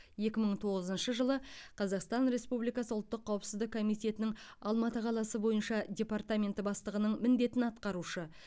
екі мың тоғызыншы жылы қазақстан республикасы ұлттық қауіпсіздік комитетінің алматы қаласы бойынша департаменті бастығының міндетін атқарушы